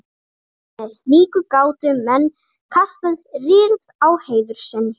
með slíku gátu menn kastað rýrð á heiður sinn